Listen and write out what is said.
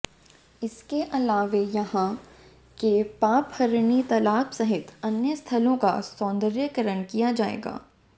इसके अलावे यहां के पापहरिणी तालाब सहित अन्य स्थलों का सौंदर्यीकरण कराया जाएगा